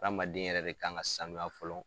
Hadamaden yɛrɛ de kan ka sanuya fɔlɔ.